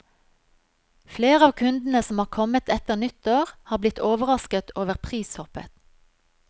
Flere av kundene som har kommet etter nyttår, har blitt overrasket over prishoppet.